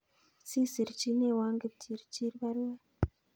Si sirchinewon Kipchirchir baruet